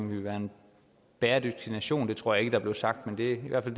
vil være en bæredygtig nation det tror jeg blev sagt men det er